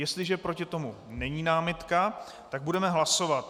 Jestliže proti tomu není námitka, tak budeme hlasovat.